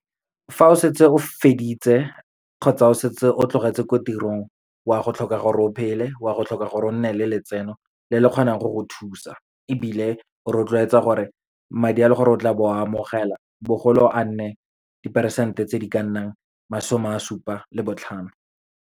Fa o setse o feditse, kgotsa o setse o tlogetse ko tirong, wa go tlhoka gore o phele, o a go tlhoka gore o nne le letseno le le kgonang go go thusa. Ebile o rotloetsa gore madi a leng gore o tla bo o a amogela, bogolo a nne di-percent-e tse di ka nnang masome a supa le botlhano.